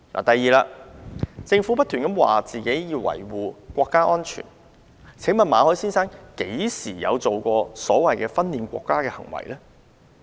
第二，政府不斷表示要維護國家安全。馬凱先生何時作出所謂"分裂國家"的行為？